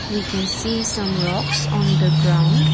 we can see some rocks on the ground.